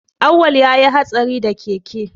Awwal ya yi hatsari da keke